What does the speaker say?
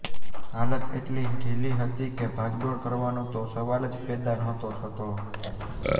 હાલત એટલી ઢીલી હતી કે ભાગદોડ કરવાનો તો સવાલ જ પેદા નહોતો થતો